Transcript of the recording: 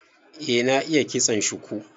Eh, na iya ƙitson shuku.